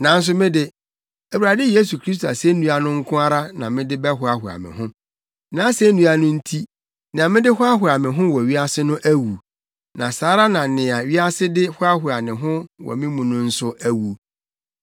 Nanso me de, Awurade Yesu Kristo asennua no nko ara na mede bɛhoahoa me ho; nʼasennua no nti, nea mede hoahoa me ho wɔ wiase no awu, na saa ara na nea wiase de hoahoa ne ho wɔ me mu no nso awu.